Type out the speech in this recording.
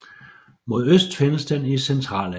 Mod øst findes den i Centralasien